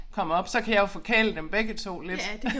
Kommer op så kan jeg jo forkæle dem begge 2 lidt